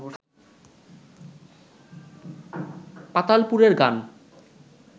পাতালপুরের গান